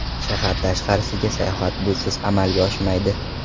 Shahar tashqarisiga sayohat busiz amalga oshmaydi.